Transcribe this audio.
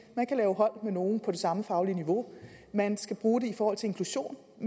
man kan lave hold med nogle på det samme faglige niveau man skal bruge det i forhold til inklusion